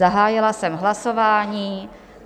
Zahájila jsem hlasování.